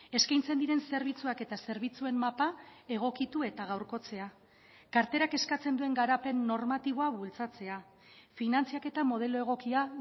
eskaintzen diren zerbitzuak eta zerbitzuen mapa egokitu eta gaurkotzea karterak eskatzen duen garapen normatiboa bultzatzea finantzaketa modelo egokia